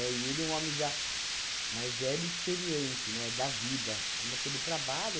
E ele é um homem já mais velho e experiente, né, da vida, ainda pelo trabalho.